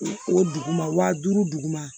O dugu ma wa duuru duguma